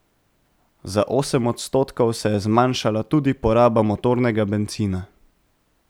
Za osem odstotkov se je zmanjšala tudi poraba motornega bencina.